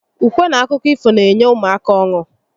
Ukwe n akụkọ ifo n'enye ụmụaka ọnu